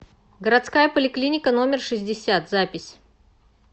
городская поликлиника номер шестьдесят запись